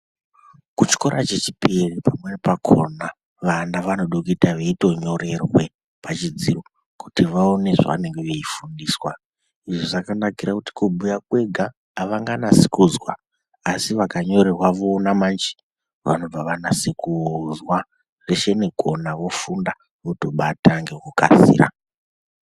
Kuchikora chechipiri pamweni pakhona vana vanoda kuita veitonyorerwe pachidziro kuti vaone zvavanenge veifundiswa, izvi zvakanakira kuti kubhuya kwega avanganasi kuzwa asi vakanyorerwa voona manje vanobva vanase kuzwa zveshe nekuona vofunda votobata ngekukasira.